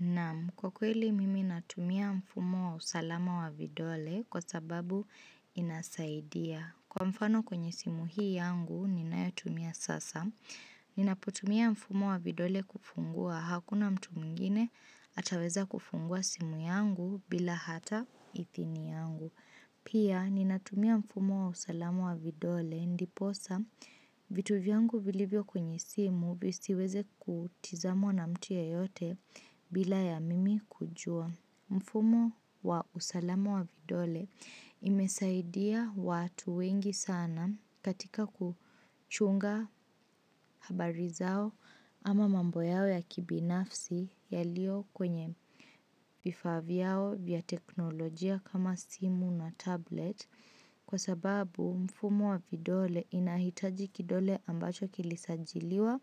Naam, kwa kweli mimi natumia mfumo wa usalama wa vidole kwa sababu inasaidia. Kwa mfano kwenye simu hii yangu, ninayotumia sasa. Ninapotumia mfumo wa vidole kufungua, hakuna mtu mwingine ataweza kufungua simu yangu bila hata ithini yangu. Pia, ninatumia mfumo wa usalama wa vidole, ndiposa. Vitu vyangu vilivyo kwenye simu visiweze kutizamwa na mtu ya yote bila ya mimi kujua. Mfumo wa usalama wa vidole imesaidia watu wengi sana katika kuchunga habari zao ama mambo yao ya kibinafsi yaliyo kwenye vifaa vyao vya teknolojia kama simu na tablet. Kwa sababu mfumo wa vidole inahitaji kidole ambacho kilisajiliwa